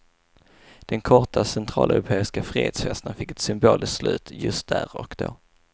Den korta centraleuropeiska frihetsfesten fick ett symboliskt slut just där och då.